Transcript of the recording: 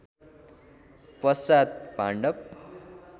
पश्चात पाण्डव